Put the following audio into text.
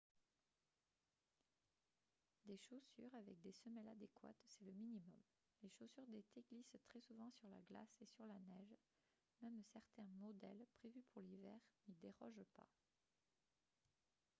des chaussures avec des semelles adéquates c'est le minimum les chaussures d'été glissent très souvent sur la glace et sur la neige même certains modèles prévus pour l'hiver n'y dérogent pas